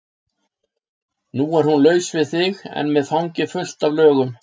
Nú er hún laus við þig en með fangið fullt af lögum.